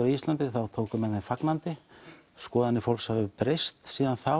á Íslandi þá tóku menn þeim fagnandi skoðanir fólks hafa breyst síðan þá